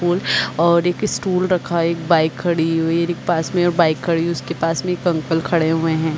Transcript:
पुल और एक स्टूल रखा एक बाइक खडी हुई पास में बाइक खडी हुई उसके पास में एक अंकल खड़े हुए है।